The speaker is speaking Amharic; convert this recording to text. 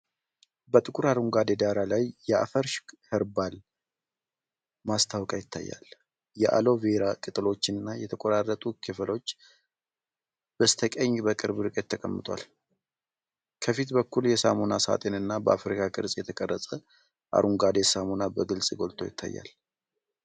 በጥቁር አረንጓዴ ዳራ ላይ የአፍሪ ኸርባል "ALOE VERA SOAP" ማስታወቂያ ይታያል። የአሎ ቬራ ቅጠሎችና የተቆራረጡ ክፍሎች በስተቀኝ በቅርብ ርቀት ተቀምጠዋል። ከፊት በኩል የሳሙና ሳጥን እና በአፍሪካ ቅርፅ የተቀረጸ አረንጓዴ ሳሙና በግልጽ ጎልቶ ይታያሉ።